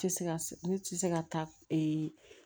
Tɛ se ka se ne tɛ se ka taa ee